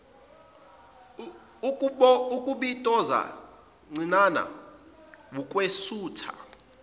ukubitoza cinana wukwesutha